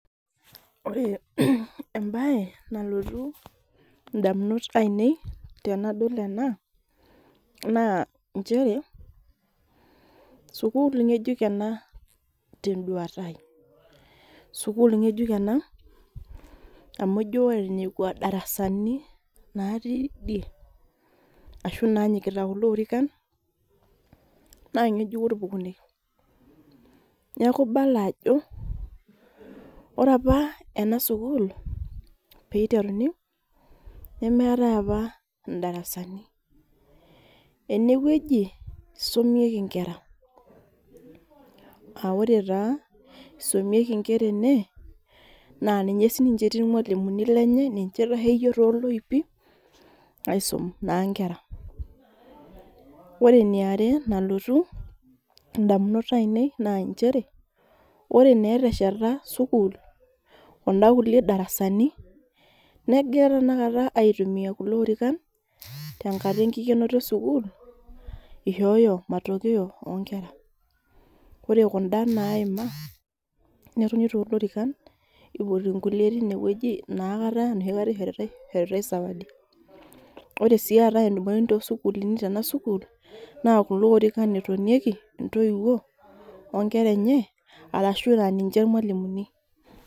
Ore ebae nalotu indamunot ainei tenadol ena, naa njere, sukuul ng'ejuk ena teduata ai. Sukuul ng'ejuk ena, amu ijo ore nekwa darasani natii idie, ashu nanyikita kulo orikan, na ng'ejuko orpukunei. Neeku ibala ajo, ore apa ena sukuul peiteruni, nemeetae apa idarasani. Enewueji isumieki nkera. Ah ore taa, isumieki nkera ene, naa ninye sininche etii irmalimuni lenye, ninche itasheyie toloipi, aisum naa nkera. Ore eniare nalotu indamunot ainei, naa njere, ore naa etesheta sukuul kuna kulie darasani, negira tanakata aitumia kulo orikan, tenkata enkikenoto esukuul, ishooyo matokeo onkera. Ore kunda naima, netoni tolorikan, ipoti nkulie tinewueji naakata enoshi kata ishoritai sawadi. Ore si eetae intumoritin tosukuulini tena sukuul, na kulo rikan etonieki, intoiwuo onkera enye, arashu ata ninche irmalimuni.